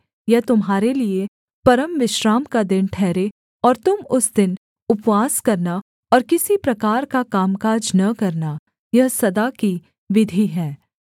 यह तुम्हारे लिये परमविश्राम का दिन ठहरे और तुम उस दिन उपवास करना और किसी प्रकार का कामकाज न करना यह सदा की विधि है